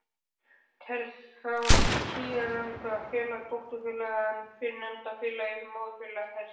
Telst þá síðarnefnda félagið dótturfélag en fyrrnefnda félagið móðurfélag þess.